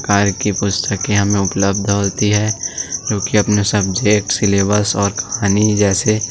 कार्य की पुस्तकें हमें उपलब्ध होती है क्योंकि अपने सब्जेक्ट सिलेबस और कहानी जैसे --